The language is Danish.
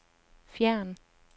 fjern